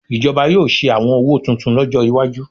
Ìjọba yóò ṣe àwọn owó tuntun lọ́jọ́ iwájú